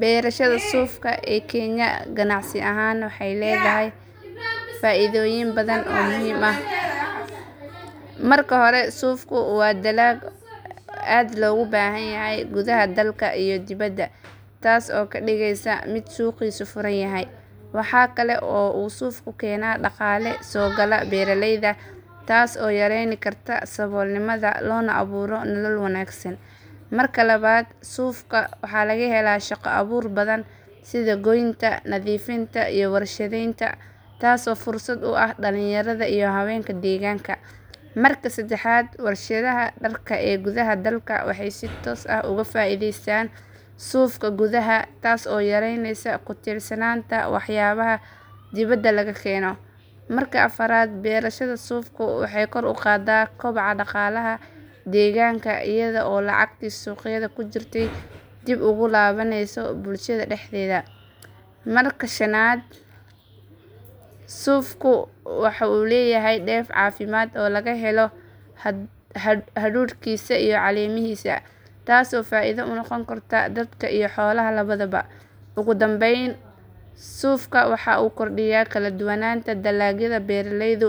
Beerashada suufka ee Kenya ganacsi ahaan waxay leedahay faa'iidooyin badan oo muhiim ah. Marka hore, suufku waa dalag aad loogu baahan yahay gudaha dalka iyo dibaddaba, taas oo ka dhigaysa mid suuqiisu furan yahay. Waxa kale oo uu suufku keenaa dhaqaale soo gala beeraleyda, taas oo yareyn karta saboolnimada loona abuuro nolol wanaagsan. Marka labaad, suufka waxa laga helaa shaqo abuur badan sida goynta, nadiifinta, iyo warshadaynta, taasoo fursad u ah dhalinyarada iyo haweenka deegaanka. Marka saddexaad, warshadaha dharka ee gudaha dalka waxay si toos ah uga faa'iidaystaan suufka gudaha, taas oo yareyneysa ku tiirsanaanta waxyaabaha dibadda laga keeno. Marka afraad, beerashada suufku waxay kor u qaadaa koboca dhaqaalaha deegaanka iyada oo lacagtii suuqyada ku jirtey dib ugu laabaneysa bulshada dhexdeeda. Marka shanaad, suufku waxa uu leeyahay dheef caafimaad oo laga helo hadhuudhkiisa iyo caleemihiisa, taasoo faa’iido u noqon karta dadka iyo xoolaha labadaba. Ugu dambayn, suufka waxa uu kordhiyaa kala duwanaanta dalagyada beeraleydu